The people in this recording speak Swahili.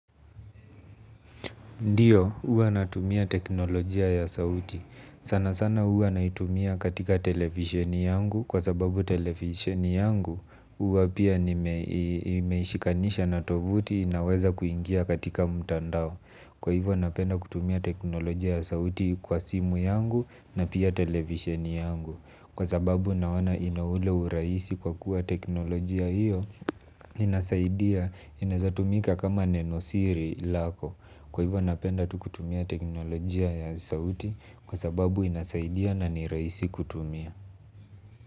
Ndiyo, huwa natumia teknolojia ya sauti. Sana sana huwa naitumia katika televisheni yangu kwa sababu televisheni yangu huwa pia nimeishikanisha na tovuti inaweza kuingia katika mtandao. Kwa hivyo napenda kutumia teknolojia ya sauti kwa simu yangu na pia televisheni yangu. Kwa sababu naona ina ule urahisi kwa kuwa teknolojia hiyo inasaidia inaezatumika kama nenosiri lako. Kwa hivyo napenda tu kutumia teknolojia ya sauti kwa sababu inasaidia na ni rahisi kutumia.